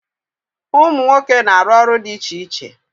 Umu nwoke na aru olu di iche iche.